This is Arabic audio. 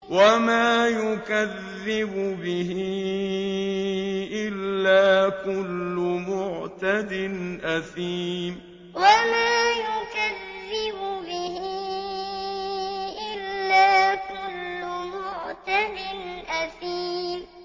وَمَا يُكَذِّبُ بِهِ إِلَّا كُلُّ مُعْتَدٍ أَثِيمٍ وَمَا يُكَذِّبُ بِهِ إِلَّا كُلُّ مُعْتَدٍ أَثِيمٍ